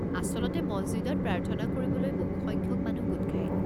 আচলতে মছজিদত প্ৰাৰ্থনা কৰিবলৈ বহু সংখ্যক মানুহ গোট খায়।